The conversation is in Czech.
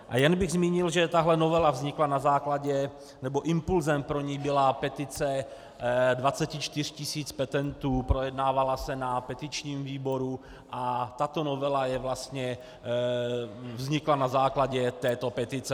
A jen bych zmínil, že tahle novela vznikla na základě, nebo impulsem pro ni byla petice 24 tisíc petentů, projednávala se na petičním výboru a tato novela je vlastně, vznikla na základě této petice.